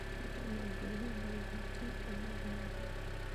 Hihi nĩ ngwĩhumba igoti umuthi mũthenya